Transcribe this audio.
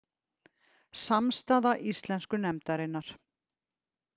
Samstaða íslensku nefndarinnar.